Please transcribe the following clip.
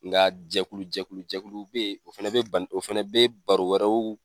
Nga jɛkulu jɛkulu jɛkulu bɛ ye o fɛnɛ bɛ ba o fɛnɛ bɛ baro wɛrɛw